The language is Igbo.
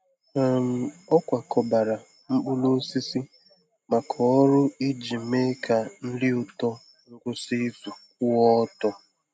um Ọ kwakọbara mkpụrụ osisi maka ọrụ iji mee ka nri ụtọ ngwụsị izu kwụọ ọtọ.